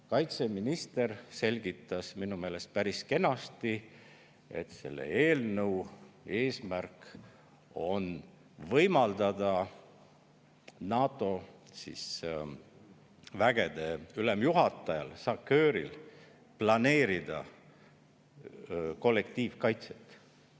Kaitseminister selgitas minu meelest päris kenasti, et selle eelnõu eesmärk on võimaldada NATO vägede ülemjuhatajal SACEUR-il planeerida kollektiivkaitset.